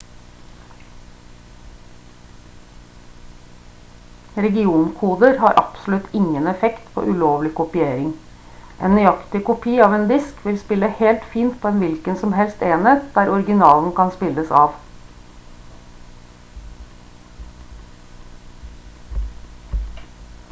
regionkoder har absolutt ingen effekt på ulovlig kopiering en nøyaktig kopi av en disk vil spille helt fint på en hvilken som helst enhet der originalen kan spilles av